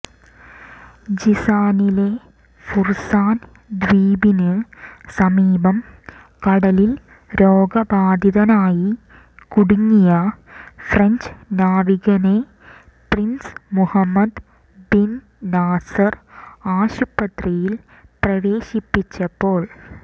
ജിസാനിലെ Farasan ദ്വീപിന് സമീപം കടലിൽ രോഗബാധിതനായി കുടുങ്ങിയ ഫ്രഞ്ച് നാവികനെ പ്രിൻസ് മുഹമ്മദ് ബിൻ നാസർ ആശുപത്രിയിൽ പ്രവേശിപ്പിച്ചപ്പോൾ